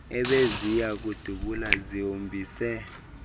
ebeziya kudubula zihombise